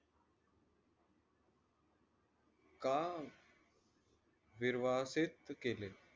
का निर्वासित केले?